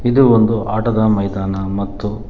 ಇದು ಒಂದು ಆಟದ ಮೈದಾನ ಮತ್ತು--